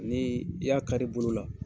Ni i y'a kari bolo la.